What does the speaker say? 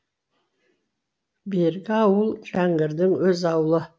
бергі ауыл жәңгірдің өз аулы